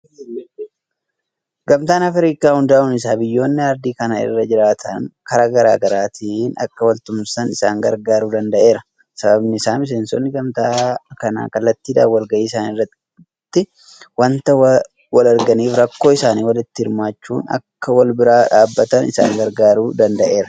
Gamtaan Afriikaa hundaa'uun isaa biyyoonni Aardii kana irra jiraatan karaa garaa garaatiin akka waltumsan isaan gargaaruu danda'eera. Sababni isaas miseensinni gamtaa kanaa kallattiidhaan walgahii isaanii irratti waanta walarganiif rakkoo isaanii walitti himachuudhaan akka walbira dhaabbatan isaan gargaaruu danda'eera.